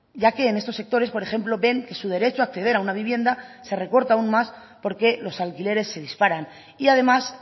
ya que en estos sectores por ejemplo ven que su derecho a acceder a una vivienda se recorta aún más porque los alquileres se disparan y además